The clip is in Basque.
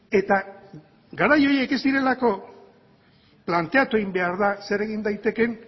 eta garai horiek ez direlako planteatu egin behar da zer egin daitekeen